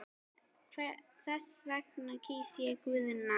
Þess vegna kýs ég Guðna.